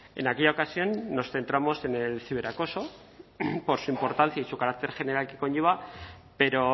en aquella ocasión nos centramos en el ciberacoso por su importancia y su carácter general que conlleva pero